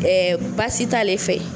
Ɛɛ baasi t'ale fɛ